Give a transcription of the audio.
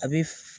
A bɛ f